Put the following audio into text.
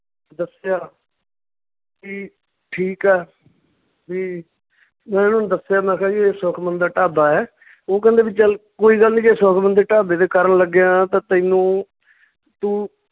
ਦੱਸਿਆ ਕੀ ਠੀਕ ਆ ਵੀ ਮੈਂ ਉਹਨੂੰ ਦੱਸਿਆ ਮੈਂ ਕਿਹਾ ਵੀ ਇਹ ਸੁਖਮਣ ਦਾ ਢਾਬਾ ਏ ਉਹ ਕਹਿੰਦੇ ਵੀ ਚੱਲ ਕੋਈ ਗੱਲ ਨੀ ਜੇ ਸੁਖਮਣ ਦਾ ਢਾਬੇ ਤੇ ਕਰਨ ਲੱਗਿਆ ਤਾਂ ਤੈਨੂੰ ਤੂੰ